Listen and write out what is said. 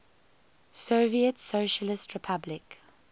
soviet socialist republic